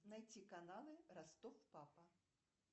найти каналы ростов папа